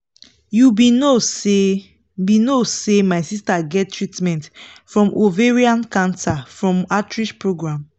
you be no say be no say my sister get treatment from ovarian cancer from outreach program